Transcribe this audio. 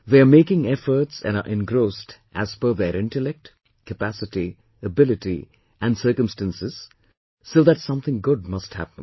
They are making efforts and are engrossed as per their intellect, capacity, ability and circumstances so that something good must happen